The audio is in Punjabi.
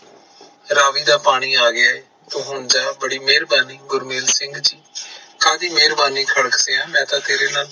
ਰਾਵੀ ਦਾ ਪਾਣੀ ਆ ਗਯਾ ਏ ਤੂੰ ਹੁਣ ਜਾ, ਬੜੀ ਮੇਹਰਬਾਨੀ ਗਰਮੇਲ ਸਿੰਘ ਜੀ, ਕਦੀ ਮੇਹਰਬਾਨੀ ਖੜਾਕ ਸੇਹਾ ਮੈਂ ਤਾ ਤੇਰੇ ਨਾਲ